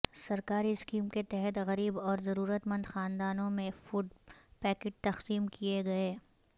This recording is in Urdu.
سرکاری اسکیم کے تحت غریب اور ضرورت مند خاندانوں میں فوڈ پیکٹ تقسیم کئے گئے